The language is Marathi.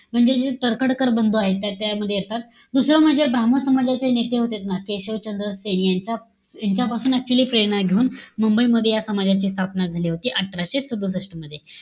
म्हणजे जे तर्खडकर बंधू आहेत ते त्यामध्ये येतात. दुसरं म्हणजे, ब्राम्हण समाजाचे नेते होते ना, केशवचंद्र सेनी यांचा यांच्यापासून actually प्रेरणा घेऊन, मुंबई मध्ये या समाजाची स्थापना झाली होती, अठराशे सदुसष्ट मध्ये.